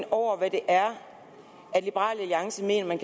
over hvad det er liberal alliance mener man